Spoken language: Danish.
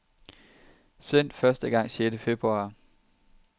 Sendt første gang sjette februar.